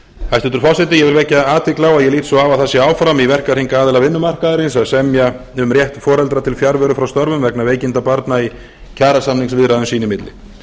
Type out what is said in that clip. hæstvirtur forseti ég vil vekja athygli á að ég lít svo á að það sé áfram í verkahring aðila vinnumarkaðarins að semja um rétt foreldra til fjarveru frá störfum vegna veikinda barna í kjarasamningsviðræðum sín í milli